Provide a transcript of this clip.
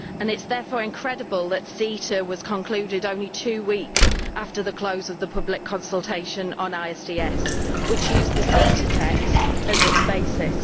It is therefore incredible that CETA was concluded only two weeks after the close of the public consultation on ISDS, which used the CETA text as its basis.